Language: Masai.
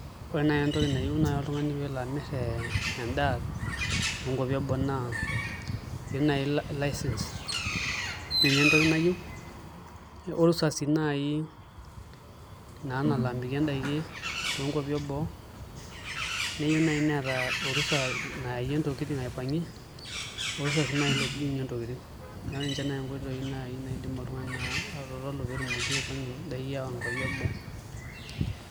Ore nai entoki nayieu oltungani pee elo amir ee endaa toonkupi eboo naa eyiu nai license ninye entoki nayieu orusa sii nai naa nalo amirie indaikin toonkuapi eboo neyiu nai neeta orusa nayayie ntokitin aipangie orusa nai oidurunyi ntokitin neeku ninche nai inkoitoi nai naidim oltungani atotolu pee tumoki aipangie ayawa nkuapi eboo.